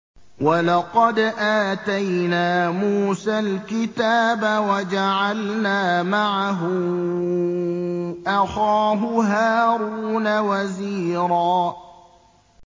وَلَقَدْ آتَيْنَا مُوسَى الْكِتَابَ وَجَعَلْنَا مَعَهُ أَخَاهُ هَارُونَ وَزِيرًا